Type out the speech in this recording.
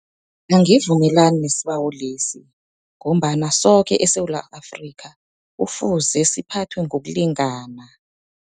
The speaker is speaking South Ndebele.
Angivumelani nesibawo lesi, ngombana soke eSewula Afrika, kufuze siphathwe ngokulingana.